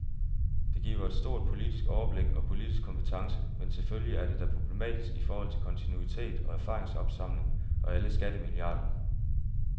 Det giver stort politisk overblik og politisk kompetence, men selvfølgelig er det da problematisk i forhold til kontinuitet og erfaringsopsamling og alle skattemilliarderne.